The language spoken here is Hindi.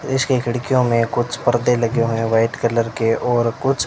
इसकी खिड़कियों में कुछ पर्दे लगे हुए हैं व्हाइट कलर के और कुछ--